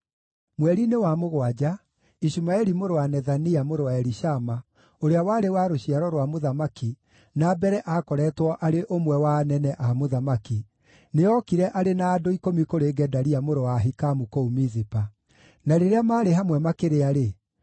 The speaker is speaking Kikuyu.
Mweri-inĩ wa mũgwanja Ishumaeli mũrũ wa Nethania, mũrũ wa Elishama, ũrĩa warĩ wa rũciaro rwa mũthamaki na mbere aakoretwo arĩ ũmwe wa anene a mũthamaki, nĩookire arĩ na andũ ikũmi kũrĩ Gedalia mũrũ wa Ahikamu kũu Mizipa. Na rĩrĩa maarĩ hamwe makĩrĩa-rĩ,